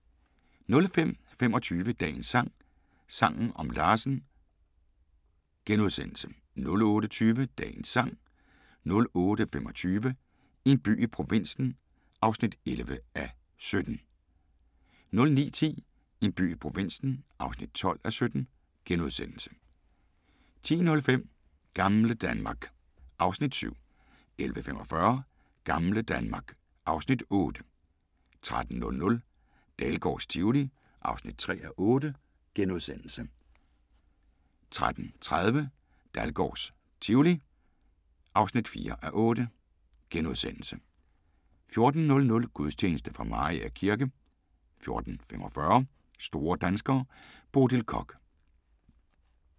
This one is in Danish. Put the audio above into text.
05:25: Dagens sang: Sangen om Larsen * 08:20: Dagens sang 08:25: En by i provinsen (11:17)* 09:10: En by i provinsen (12:17)* 10:05: Gamle Danmark (Afs. 7) 11:45: Gamle Danmark (Afs. 8) 13:00: Dahlgårds Tivoli (3:8)* 13:30: Dahlgårds Tivoli (4:8)* 14:00: Gudstjeneste fra Mariager kirke 14:45: Store danskere - Bodil Koch